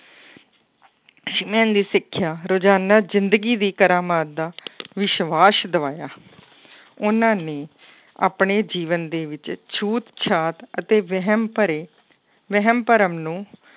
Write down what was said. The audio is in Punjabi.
ਦੀ ਸਿੱਖਿਆ ਰੁਜ਼ਾਨਾ ਜ਼ਿੰਦਗੀ ਦੀ ਕਰਾਮਾਤ ਦਾ ਵਿਸਵਾਸ਼ ਦਿਵਾਇਆ ਉਹਨਾਂ ਨੇ ਆਪਣੇ ਜੀਵਨ ਦੇ ਵਿੱਚ ਛੂਤ ਛਾਤ ਅਤੇ ਵਹਿਮ ਭਰੇ ਵਹਿਮ ਭਰਮ ਨੂੰ